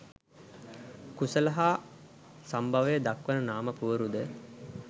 කුලය හා සම්භවය දක්වන නාම පුවරුද